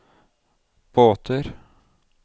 båter